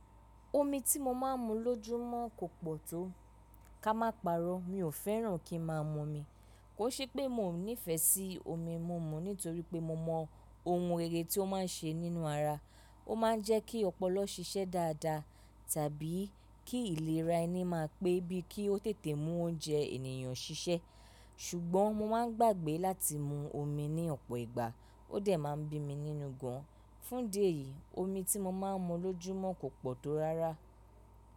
Omi tí mo máa ń mu lójúmọ́ kò pọ̀ tó. Ká má parọ́ mi ò fẹ́ràn kí ń máa mun mi. Kò ṣe pé mi ò nífẹsí omi múmú nítorí pé mo mọ ohun rere tí ó máa ń ṣe nínú ara. Ó máa ń jẹ́ kí ọpọlọ ṣiṣẹ́ dáadáa tàbí kí ìlera ẹni máa pé bí kí ó tètè mú oúnjẹ ènìyàn ṣiṣẹ́. Ṣùgbọ́n mo máa ń gbàgbé láti mu omi ní ọ̀pọ̀ ìgbà, ó dẹ̀ máa ń bí mi nínú gan. Fún di eyìí, omi tí mo máa ń mu lójúmọ́ kò pọ̀ tó rárá.